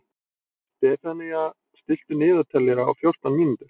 Stefanía, stilltu niðurteljara á fjórtán mínútur.